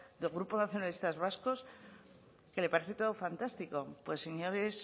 del grupo nacionalistas vascos que le parece todo fantástico pues señores